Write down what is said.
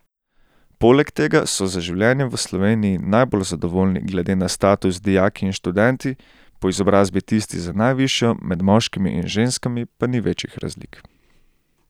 Poleg tega so z življenjem v Sloveniji najbolj zadovoljni glede na status dijaki in študenti, po izobrazbi tisti z najvišjo, med moškimi in ženskami pa ni večjih razlik.